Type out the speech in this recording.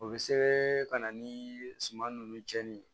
O bɛ sɛbɛn ka na ni suman nunnu cɛnni ye